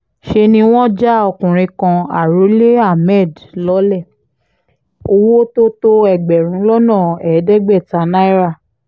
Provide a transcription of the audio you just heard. ṣe ni wọ́n já ọkùnrin kan arọ́lé hammed lọ́lẹ̀ owó tó tó ẹgbẹ̀rún lọ́nà ẹ̀ẹ́dẹ́gbẹ̀ta náírà